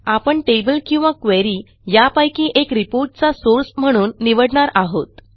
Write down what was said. आपण टेबल किंवा क्वेरी यापैकी एक रिपोर्ट चा सोर्स म्हणून निवडणार आहोत